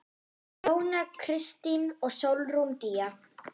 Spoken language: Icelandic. Jóna Kristín og Sólrún Día.